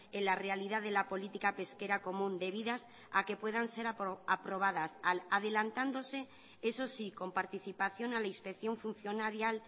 en la realidad de la política pesquera común debidas a que puedan ser aprobadas adelantándose eso sí con participación a la inspección funcionarial